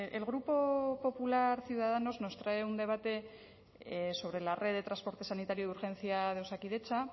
el grupo popular ciudadanos nos trae un debate sobre la red de transporte sanitario de urgencia de osakidetza